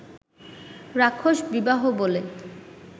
রাক্ষস বিবাহ বলে